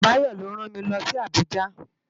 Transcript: Bayo ló rán mi lòsi Abuja